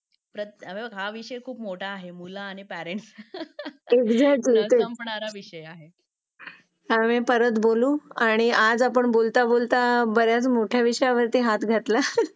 हो हां, पण असा तो बोलतोय म्हणून आणि आज आपण आह ज्या डायरेक्ट शाळेच्या किंवा मुलांच्या हाइजीन विषयावर ती आली म्हणजे एकतर आहे. जिल्ह्य़ात इंपॉर्टन्स भाग आहेत आणि मुलांच्या बाबतीत म्हटल्यावर ती जरा आया जरा जास्तचं आह हे होतात की मुलाची स्वच्छता किंवा मुलाला काही होऊ नये म्हणून जरा जास्तचं आह काय म्हणतात?